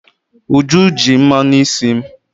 Uju ji mmanụ isi m.